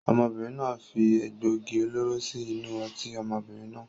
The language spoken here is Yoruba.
Ọmọbìnrin náà fi egbògi olóró síí inú ọtí ọmọbìnrin náà.